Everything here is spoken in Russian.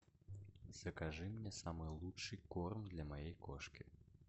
закажи мне самый лучший корм для моей кошки